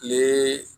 Ee